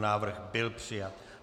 Návrh byl přijat.